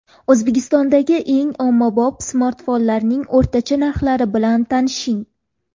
O‘zbekistondagi eng ommabop smartfonlarning o‘rtacha narxlari bilan tanishing.